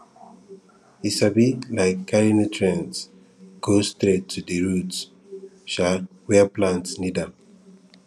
e sabi um carry nutrients go straight to di root um where plants need am